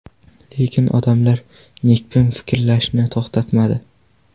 Lekin odamlar nekbin fikrlashni to‘xtatmadi.